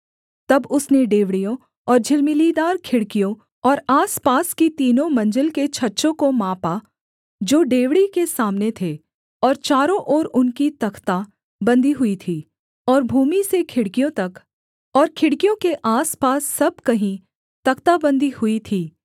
तब उसने डेवढ़ियों और झिलमिलीदार खिड़कियों और आसपास की तीनों मंजिल के छज्जों को मापा जो डेवढ़ी के सामने थे और चारों ओर उनकी तख्‍ता बन्दी हुई थी और भूमि से खिड़कियों तक और खिड़कियों के आसपास सब कहीं तख्ताबंदी हुई थी